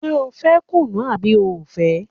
Ṣé o fẹ́ kùnú àbí o ò fẹ́?